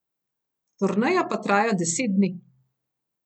Turneja pa traja deset dni.